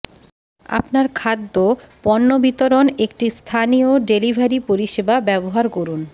আপনার খাদ্য পণ্য বিতরণ একটি স্থানীয় ডেলিভারি পরিষেবা ব্যবহার করুন